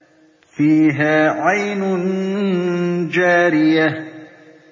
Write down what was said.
فِيهَا عَيْنٌ جَارِيَةٌ